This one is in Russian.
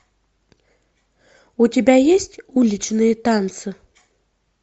у тебя есть уличные танцы